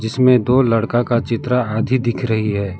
इसमें दो लड़का का चित्र आधी दिख रही है।